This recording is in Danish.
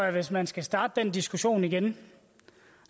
ind hvis man skal starte den diskussion igen